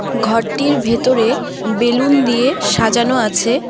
ঘরটির ভেতরে বেলুন দিয়ে সাজানো আছে।